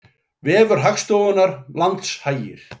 Vefur Hagstofunnar Landshagir